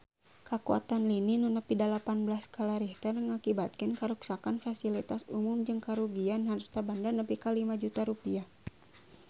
Kakuatan lini nu nepi dalapan belas skala Richter ngakibatkeun karuksakan pasilitas umum jeung karugian harta banda nepi ka 5 juta rupiah